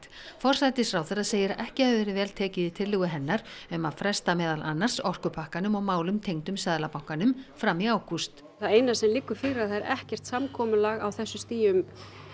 forsætisráðherra segir að ekki hafi verið vel tekið í tillögu hennar um að fresta meðal annars orkupakkanum og málum tengdum Seðlabankanum fram í ágúst það eina sem liggur fyrir er ekkert samkomulag á þessu stigi um